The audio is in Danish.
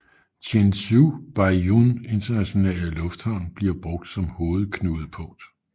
Guangzhou Baiyun Internationale Lufthavn bliver brugt som hovedknudepunkt